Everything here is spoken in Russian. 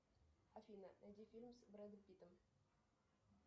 афина найди фильм с брэдом питтом